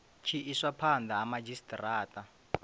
tshi iswa phanda ha madzhisitarata